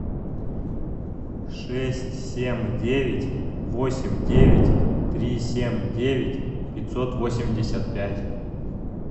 шесть семь девять восемь девять три семь девять пятьсот восемьдесят пять